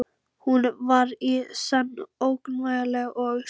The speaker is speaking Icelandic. Hún var í senn ógnvænleg og seiðandi.